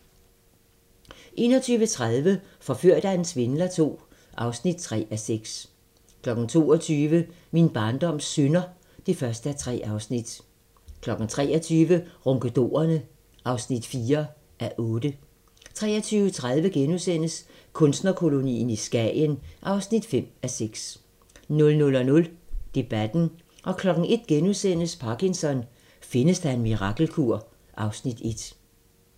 21:30: Forført af en svindler II (3:6) 22:00: Min barndoms synder (1:3) 23:00: Ronkedorerne (4:8) 23:30: Kunstnerkolonien i Skagen (5:6)* 00:00: Debatten * 01:00: Parkinson: Findes der en mirakelkur? (Afs. 1)*